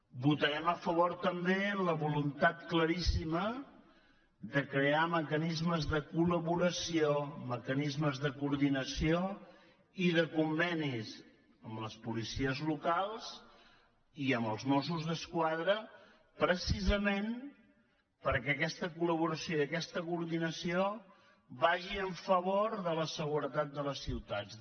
votarem a favor també de la voluntat claríssima de crear mecanismes de colordinació i de convenis amb les policies locals i amb els mossos d’esquadra precisament perquè aquesta col·laboració i aquesta coordinació vagin en favor de la seguretat de les ciutats